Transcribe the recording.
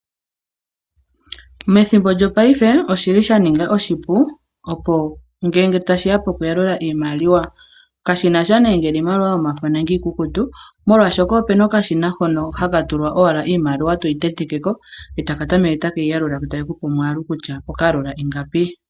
Methimbo lyongaashingeyi oshi li sha ninga oshipu ngele ta shiya pokuyalula iimaliwa kashinasha ngele iimaliwa yomafo nenge iikukutu molwashoka opu na okashina hono haka tulwa owala iimaliwa toyi tentekeko e taka tameke take yi yalula ko take kupe omwaalu kutya okayalula ingapi.